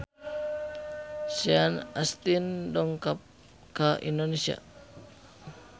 Sean Astin dongkap ka Indonesia